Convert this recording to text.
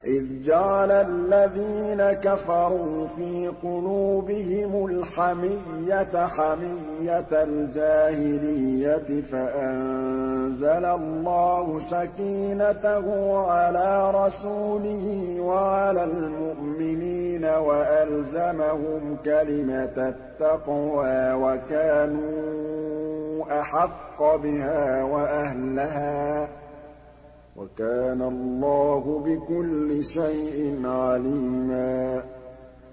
إِذْ جَعَلَ الَّذِينَ كَفَرُوا فِي قُلُوبِهِمُ الْحَمِيَّةَ حَمِيَّةَ الْجَاهِلِيَّةِ فَأَنزَلَ اللَّهُ سَكِينَتَهُ عَلَىٰ رَسُولِهِ وَعَلَى الْمُؤْمِنِينَ وَأَلْزَمَهُمْ كَلِمَةَ التَّقْوَىٰ وَكَانُوا أَحَقَّ بِهَا وَأَهْلَهَا ۚ وَكَانَ اللَّهُ بِكُلِّ شَيْءٍ عَلِيمًا